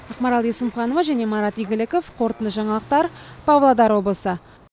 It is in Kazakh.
ақмарал есімханова және марат игіліков қорытынды жаңалықтар павлодар облысы